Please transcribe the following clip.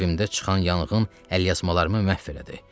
Evimdə çıxan yanğın əlyazmalarımı məhv elədi.